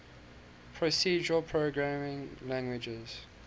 procedural programming languages